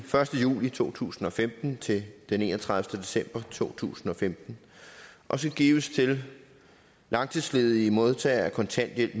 første juli to tusind og femten til enogtredivete december to tusind og femten og skal gives til langtidsledige modtagere af kontanthjælp